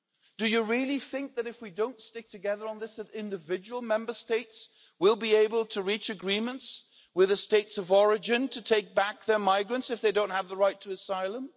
Do you really think that if we do not stick together on this, individual Member States will be able to reach agreements with the states of origin to take back their migrants if they do not have the right to asylum?